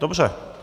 Dobře.